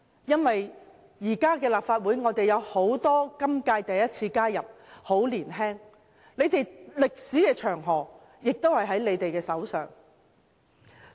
現屆立法會有很多首次加入的議員，他們都很年青，歷史長河在他們手上。